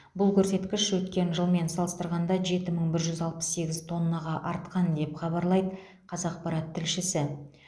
бұл көрсеткіш өткен жылмен салыстырғанда жеті мың бір жүз алпыс сегіз тоннаға артқан деп хабарлайды қазақпарат тілшісі